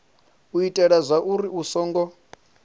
u itela zwauri hu songo